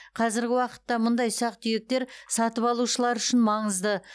қазіргі уақытта мұндай ұсақ түйектер сатып алушылар үшін маңызды